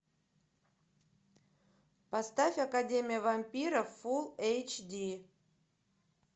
поставь академия вампиров фулл эйч ди